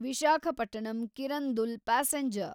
Visakhapatnam Kirandul passenger